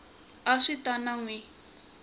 a swi ta n wi